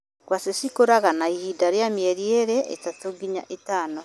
Ngwacĩ cikuraga na ihinda rĩa mĩeri ĩtatũ nginya ĩtano.